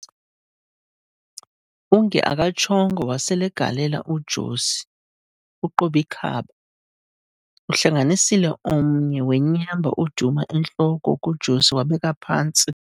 Unge akatshongo waselegalela uJosi ku"Qob'ikhaba", uhlanganisile omnye wenyamba uduma entloko kuJosi wabeka phantsi.